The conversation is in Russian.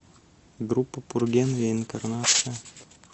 группа пурген реинкарнация